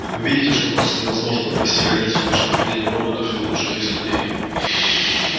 вы видите что просто невозможно провести границу между поведением роботов и лучших из людей